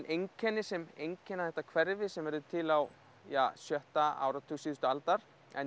einkenni sem einkenna þetta hverfi sem verður til á sjötta áratug síðustu aldar en